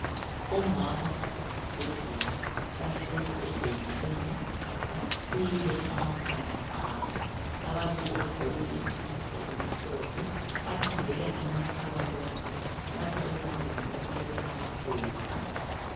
Omama basesibhedlela bahlezi ebhentshini baqhiyile amakhanda abo, ababili bagqoke izikipa ezimhlophe bathandele amantsaro bonke lapha ezandleni bathwele amaphepha.